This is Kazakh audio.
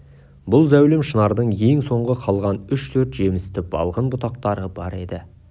бұл зәулім шынардың ең соңғы қалған үш-төрт жемісті балғын бұтақтары бар еді